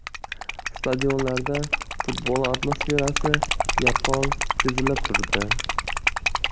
Stadionlarda futbol atmosferasi yaqqol sezilib turdi.